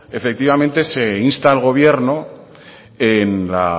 efectivamente se insta al gobierno en la